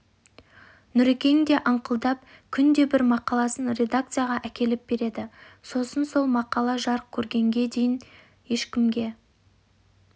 нүрекең де аңқылдап күнде бір мақаласын редакцияға әкеліп береді сосын сол мақала жарық көргенге шейін ешкімге